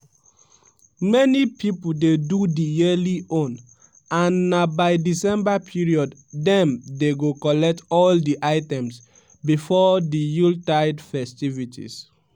many pipo dey do di yearly own and na by december period dem dey go collect all di items before di yuletide festivities.